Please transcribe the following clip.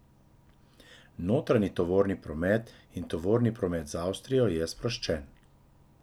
Notranji tovorni promet in tovorni promet z Avstrijo je sproščen.